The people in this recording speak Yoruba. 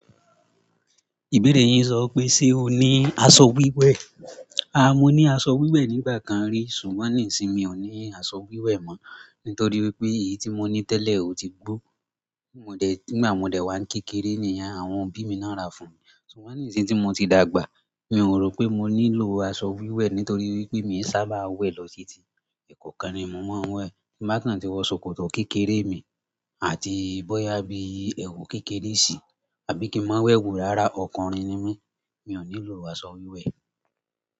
Ìbéèrè yín sọ pé, ṣe o ní aṣọ wíwẹ̀? A, mo ní aṣọ wíwẹ̀ nígbà kan rí, ṣùgbọ́n nísinyí mi ò ní aṣọ wíwẹ̀ mọ́, nítorí wípé èyí tí mo ní tẹ́lẹ̀ ò ti gbó. Nígbà modè wa n kékeré niyen àwọn òbí mi náà ra fún mi. Ṣùgbọ́n nísinyí tí mo ti dàgbà, mi ò rò pé mo nílò aṣọ wíwẹ̀ nítorí wípé mi sábà wẹ̀ lọ titi. Ẹ̀kọ̀ọkan ni mo máa ń wẹ̀. Bí mà kàn tí wọ́n sokò kékeré mi àti bóyá bí ẹ̀wù kékeré si àbí kí n máa wẹ̀ òwúrọ̀ ara ọkùnrin ni mí, mi ò nílò aṣọ wíwẹ̀.